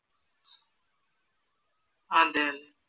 അതെ അതെ